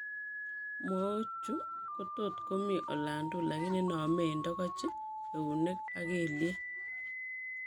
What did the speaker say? Mook chu kotot komii oldatugul lakini inome eng' togoch, eunek ak kelyek